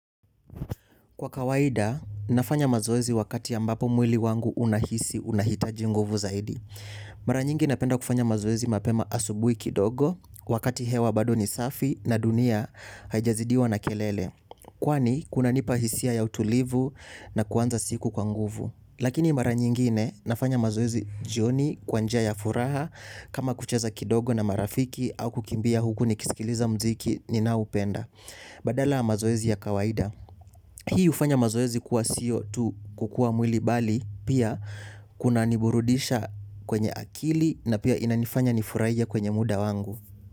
Kwa kawaida, nafanya mazoezi wakati ambapo mwili wangu unaihisi unahitaji nguvu zaidi. Mara nyingi napenda kufanya mazoezi mapema asubuhi kidogo, wakati hewa bado ni safi na dunia haijazidiwa na kelele. Kwani, kunanipa hisia ya utulivu na kuanza siku kwa nguvu. Lakini mara nyingine, nafanya mazoezi jioni kwa njia ya furaha, kama kucheza kidogo na marafiki, au kukimbia huk nikisikiliza mziki ninaoupenda. Badala ya mazoezi ya kawaida. Hii ufanya mazoezi kuwa siyo tu kukua mwili bali pia kunaniburudisha kwenye akili na pia inanifanya nifurahie kwenye muda wangu.